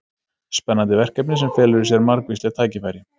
Spennandi verkefni sem felur í sér margvísleg tækifæri.